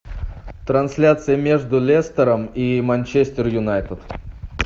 трансляция между лестером и манчестер юнайтед